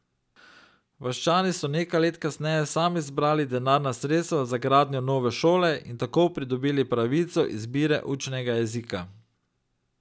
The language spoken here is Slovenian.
Vaščani so nekaj let kasneje sami zbrali denarna sredstva za gradnjo nove šole in tako pridobili pravico izbire učnega jezika.